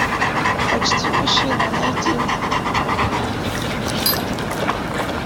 почти мужчина найти